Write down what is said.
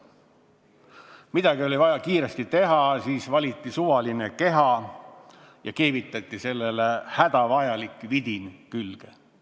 Midagi oli vaja kiiresti teha, valiti suvaline keha ja sellele keevitati hädavajalik vidin külge.